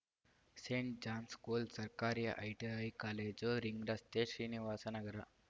Saint John school ಸರ್ಕಾರಿ ITI college ring ರಸ್ತೆ ಶ್ರೀನಿವಾಸ ನಗರ